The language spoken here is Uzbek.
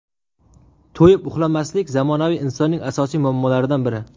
To‘yib uxlamaslik zamonaviy insonning asosiy muammolaridan biri.